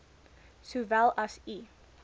sowel as u